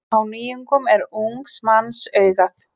Á nýjungum er ungs manns augað.